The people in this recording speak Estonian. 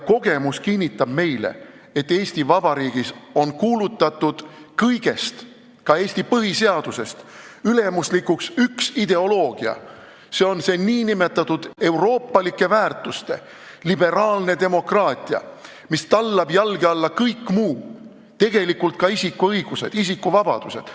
Kogemus kinnitab meile, et Eesti Vabariigis on kõigest, ka Eesti põhiseadusest ülemuslikuks kuulutatud üks ideoloogia: see on see nn euroopalike väärtuste liberaalne demokraatia, mis tallab jalge alla kõik muu, ka isikuõigused ja isikuvabadused.